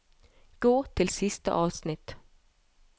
Gå til siste avsnitt